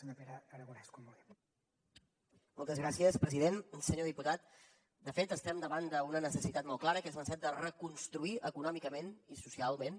senyor diputat de fet estem davant d’una necessitat molt clara que és la necessitat de reconstruir econòmicament i socialment